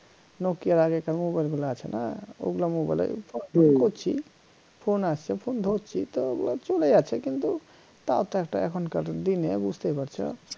nokia র আগেকার mobile গুলা আছে না ওগুলা mobile phone আসে phone ধরছি তো আহ চলে যাচ্ছে কিন্তু তাওতো একটা এখনকার দিনে বুঝতে পারছ